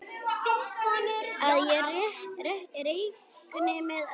Að ég reikni með öllu.